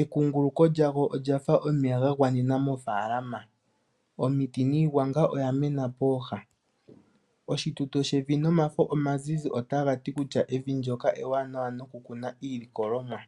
Ekunguluko lyago olyafa omeya gagwanena mofalama. Omiti niigwanga oya mena pooha. Oshituto shevi nomafo omazizi otashiti kutya evi ndjoka eewanawa noku kuna iilikolomwa.